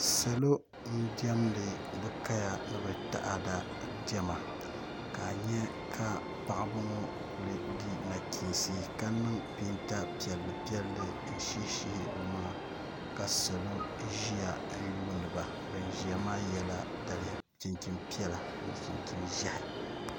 salo n-diɛmdi bɛ kaya ni taada diɛma ka a nya ka paɣiba ŋɔ kuli di nachiinsi ka niŋ peeta piɛllipiɛlli n-shihishihi bɛ maŋa ka salo ʒiya n-ayuuni ba ban ʒiya maa yela daliya chinchin'piɛlla ni chinchin'ʒehi